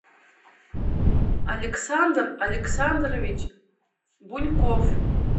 александр александрович буньков